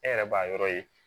E yɛrɛ b'a yɔrɔ ye